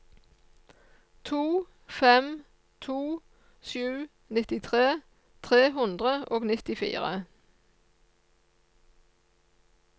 to fem to sju nittitre tre hundre og nittifire